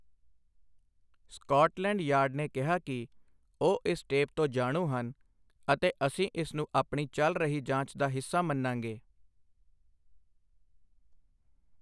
Scotland Yard ਨੇ ਕਿਹਾ ਕਿ ਉਹ ਇਸ ਟੇਪ ਤੋਂ ਜਾਣੂ ਹਨ ਅਤੇ ਅਸੀਂ ਇਸ ਨੂੰ ਆਪਣੀ ਚੱਲ ਰਹੀ ਜਾਂਚ ਦਾ ਹਿੱਸਾ ਮੰਨਾਂਗੇ।